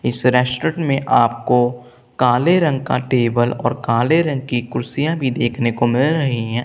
इस रेस्टोरेंट में आपको काले रंग का टेबल और काले रंग की कुर्सियां भी देखने को मिल रही हैं।